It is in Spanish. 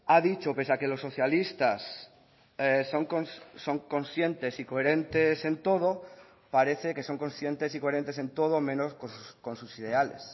ha dicho pese a que los socialistas son conscientes y coherentes en todo parece que son conscientes y coherentes en todo menos con sus ideales